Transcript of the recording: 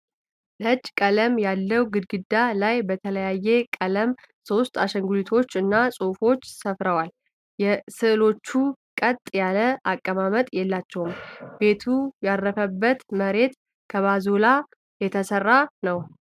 ነጭ ቀለም ያለው ግድግዳ ላይ በተለያየ ቀለም ሶስት አሻንጉሊቶች እና ፅሁፎች ሰፍረዋል:: ስእሎቹ ቀጥ ያለ አቀማመጥ የላቸውም:: ቤቱ ያረፈበት መሬት ከባዞላ የተሰራ ነው::